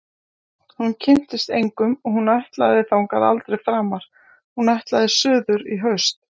Hún kynntist engum og hún ætlaði þangað aldrei framar- hún ætlaði suður í haust.